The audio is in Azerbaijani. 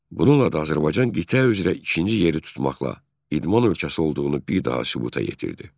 Bununla da Azərbaycan ümumi medal hesabında ikinci yeri tutmaqla idman ölkəsi olduğunu bir daha sübuta yetirdi.